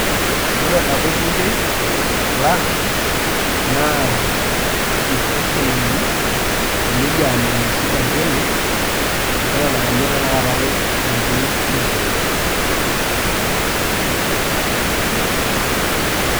Ore apa orbungei lang na his excellency Elijah memusi kanchori neton aa ninye tanakata ormbungei likiata.